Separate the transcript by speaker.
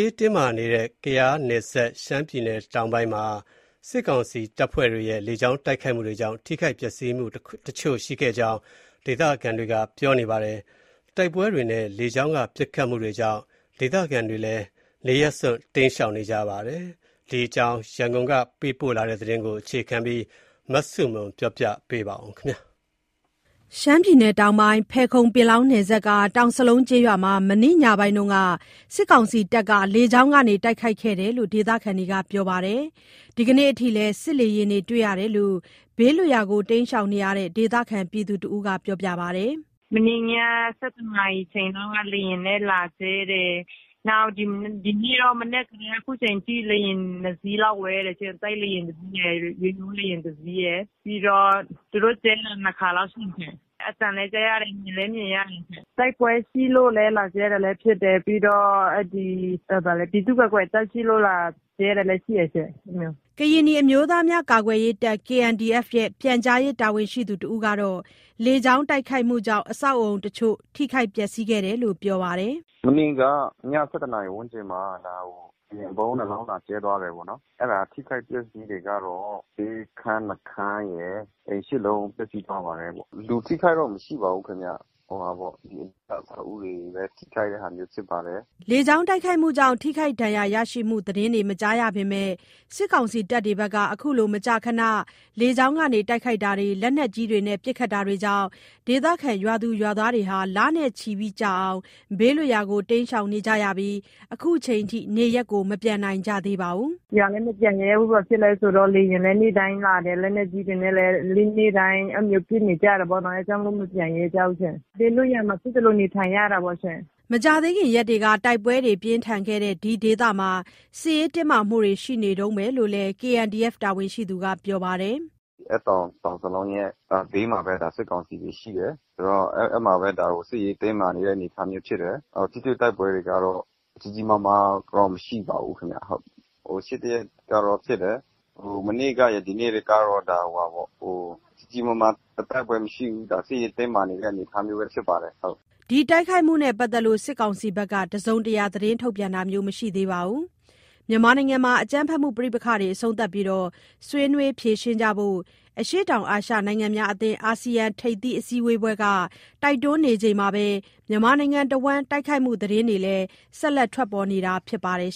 Speaker 1: းတင်းမာနေတဲ့ ရှမ်းပြည်နယ်တောင်ပိုင်းမှာ စစ်ကောင်စီတပ်ဖွဲ့တွေရဲ့ လေကြောင်းတိုက်ခိုက်မှုတွေကြောင့် ထိခိုက်ပျက်စီးမှုတချို့ ရှိခဲ့ကြောင်း ဒေသခံတွေက ပြောပါတယ်။ တိုက်ပွဲတွေနဲ့ လေကြောင်းက ပစ်ခတ်မှုတွေကြောင့် ဒေသခံတွေလည်း နေရပ်စွန့် တိမ်းရှောင်နေကြရတာပါ။ ဒီအကြောင်း ရန်ကုန်က ပေးပို့တဲ့သတင်းကို အခြေခံပြီး မဆုမွန် ပြောပြပေးမှာ ဖြစ်ပါတယ်
Speaker 2: ။ ရှမ်းပြည်နယ်တောင်ပိုင်း ဖယ်ခုံ-ပင်လောင်းနယ်စပ်က တောင်စလုံးကျေးရွာမှာ မနေ့ညပိုင်းမှာ စစ်ကောင်စီတပ်က လေကြောင်းကနေ တိုက်ခိုက်ခဲ့တာလို့ ဒေသခံတွေက ပြောပါတယ်။ ဒီနေ့အထိလည်း စစ်လေယာဉ်တွေကို တွေ့ရတယ်လို့ ဘေးလွတ်ရာ တိမ်းရှောင်နေတဲ့ ဒေသခံ တယောက်က ပြောပါတယ်။ “ မ
Speaker 3: နေ့ည ၁၁ နာရီချိန်လောက်က လေယာဉ်နဲ့လာကျဲတယ်၊ ဒီနေ့တော့ မနက်ကတည်းက ခုချိန်ထိ လေယာဉ် ၂စီးလောက် ဝဲတယ်ရှင့်၊ တိုက်လေယာဉ် ၁စီးရယ် ရိုးရိုးလေယာဉ် ၁စီးရယ် ပြီးတော့ သူတု့ိ ကျဲတာ ၂ခါလောက်ရှိပြီးရှင့်။ အသံလည်း ကြားရတယ် မြင်လ
Speaker 2: ည်းမြင်ရတယ်တယ်ရှင့်
Speaker 3: ။ တိုက်ပွဲရှိလို့လည်း လာကျဲတာလည်းဖြစ်တယ်၊ ပြီးတော့ အဲ့ဒီ ပြည်သူ့ကာကွယ်တပ်ရှိလို့ လာကျဲတာလည်း ရှိတယ်ရှင့် အဲ့လိုမျိုး။
Speaker 2: ” ကရင်နီအမျိုးသားများ ကာကွယ်ရေးတပ်(KNDF)ရဲ့ ပြန်ကြားရေး တာဝန်ရှိသူတဦးကတော့ လေကြောင်းတိုက်ခိုက်မှုကြောင့် အဆောက်အဦးတချို့ ထိခိုက်ပျက်စီးခဲ့တယ်လို့ ပြောပါတယ်။
Speaker 4: “မနေ့က ည ၁၁ နာရီဝန်းကျင်မှာ ဒါကို လေယာဉ် ဗုံး ၂လုံးလာကျဲသွားတယ်ပေါ့နော်၊ အဲ့ဒါ အထိအခိုက် ပျက်စီးတွေကတော့ ဆေးခန်း ၂ခန်းရယ် အိမ် ၈လုံး ပျက်စီးသွားပါတယ်ပေါ့။ လူထိခိုက်တော့ မရှိပါဘူးခင်ဗျ။ ဟိုဟာပေါ့…အဆောက်အဦးတွေပဲ ထိခိုက်တဲ့ဟာမျိုးဖြစ်ပါတယ်။
Speaker 2: ” လေကြောင်းတိုက်ခိုက်မှုကြောင့် ထိခိုက်ဒဏ်ရာရရှိမှု သတင်းတွေ မကြားရပေမဲ့ စစ်ကောင်စီ တပ်တွေက အခုလို မကြာခဏ လေကြောင်းက တိုက်ခိုက်တာတွေ လက်နက်ကြီးတွေနဲ့ ပစ်ခတ်တာတွေကြောင့် ဒေသခံ ရွာသူရွာသားတွေ လနဲ့ ချီကြာ ဘေးလွတ်ရာကို တိမ်းရှောင်နေကြပြီး ခုချိန်ထိ နေရပ်မပြန်နိုင်ကြသေးပါဘူး
Speaker 3: ။ “ရွာလည်း မပြန်ရဲဘူး၊ ဘာဖြစ်လဲဆိုတော့ လေယာဉ်လည်း နေ့တိုင်းလာတယ်၊ လက်နက်ကြီးတွေနဲ့လည်း နေ့တိုင်း အဲ့လိုမျိုး ပစ်နေကြတယ်ပေါ့နော် အဲ့ကြောင့်မို့လို့ မပြန်ရဲကြဘူးရှင့်။ ဘေးလွတ်ရာမှာ ဖြစ်သလို နေထိုင်ရတာပေါ့ရှင့်။
Speaker 2: ” မကြာသေးခင်ရက်တွေက တိုက်ပွဲတွေ ပြင်းထန်ခဲ့တဲ့ ဒီဒေသမှာ စစ်ရေးတင်းမာမှုတွေ ရှိနေတုန်းပဲလို့လည်း KNDF တာဝန်ရှိသူက ပြောပါတယ်။
Speaker 4: “အဲ့တောင် တောင်စလုံးရဲ့ ဘေးမှာပဲ ဒါ စစ်ကောင်စီတွေရှိတယ်။ ဒါကို စစ်ရေးတင်းမာနေတဲ့ အနေအထားမျိုးဖြစ်တယ်။ ထိတွေ့တိုက်ပွဲတွေကတော့ ကြီးကြီးမားမားတော့ မရှိပါဘူးခင်ဗျ ဟုတ်။ ဟို…ရှေ့တစ်ရက်ကတော့ ဖြစ်တယ် မနေ့ကရယ် ဒီနေ့တွေကတော့ ကြီးကြီးမာမာ တိုက်ပွဲမရှိဘူး ဒါ စစ်ရေးတင်းမာနေတဲ့ အနေအထားမျိုးပဲ ဖြစ်ပါတယ် ဟုတ်။”
Speaker 2: ဒီတိုက်ခိုက်မှုနဲ့ ပတ်သက်လို့ စစ်ကောင်စီဘက်က တစုံတရာ ထုတ်ပြန်တာမျိုးမရှိသေးပါဘူး။ မြန်မာနိုင်ငံမှာ အကြမ်းဖက်ပဋိပက္ခတွေ အဆုံးသတ်ပြီး ဆွေးနွေးဖြေရှင်းကြဖို့ အရှေ့တောင်အာရှ နိုင်ငံများအသင်း (အာဆီယံ) ထိပ်သီး အစည်းအဝေးပွဲက တိုက်တွန်းနေချိန်မှာပဲ မြန်မာနိုင်ငံတဝှမ်း တိုက်ခိုက်မှုသတင်းတွေလည်း ဆက်လက်ထွက်ပေါ်နေတာ ဖြစ်ပါတယ်